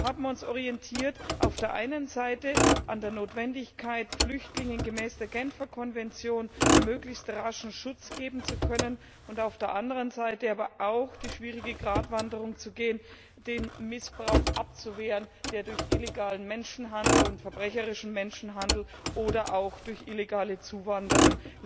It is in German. Wir haben uns auf der einen Seite an der Notwendigkeit orientiert, Flüchtlingen gemäß der Genfer Konvention möglichst rasch Schutz geben zu können, und auf der anderen Seite aber auch die schwierige Gratwanderung zu gehen, den Missbrauch abzuwehren, der durch illegalen und verbrecherischen Menschenhandel oder auch durch illegale Zuwanderung